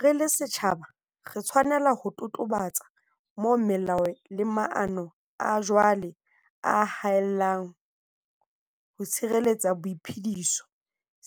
Re le setjhaba, re tshwanela ho totobatsa moo melao le maano a jwale a haellang ho tshireletsa boiphediso,